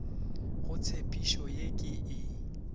go tshepišo ye ke e